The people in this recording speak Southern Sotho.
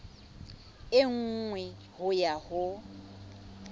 e nngwe ho ya ho